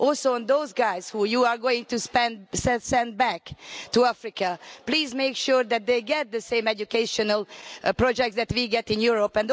On those who you are going to send back to Africa, please make sure that they get the same educational projects that we get in Europe.